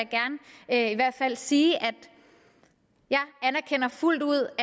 jeg i hvert fald gerne sige at jeg fuldt ud